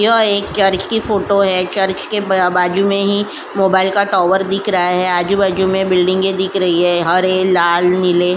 यह एक चर्च की फोटो है। चर्च के ब बाजू में ही मोबाइल का टावर दिख रहा है। आजू-बाजू में बिल्डिंगे दिख रही है। हरे लाल नीले --